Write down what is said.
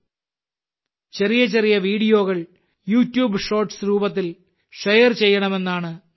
ചെറിയ ചെറിയ വീഡിയോകൾ യൂട്യൂബ് ഷോർട്സ് രൂപത്തിൽ ഷെയർ ചെയ്യണമെന്നാണ് നിർദ്ദേശം